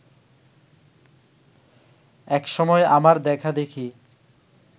এক সময় আমার দেখাদেখি